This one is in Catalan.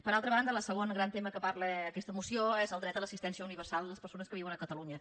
per altra banda el segon gran tema que parla aquesta moció és el dret a l’assistència universal a les persones que viuen a catalunya